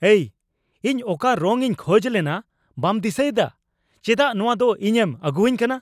ᱮᱭ, ᱤᱧ ᱚᱠᱟ ᱨᱚᱝ ᱤᱧ ᱠᱷᱚᱡ ᱞᱮᱱᱟ ᱵᱟᱢ ᱫᱤᱥᱟᱹᱭᱮᱫᱟ ? ᱪᱮᱫᱟᱜ ᱱᱚᱣᱟ ᱫᱚ ᱤᱧᱮᱢ ᱟᱹᱜᱩᱣᱟᱹᱧ ᱠᱟᱱᱟ ?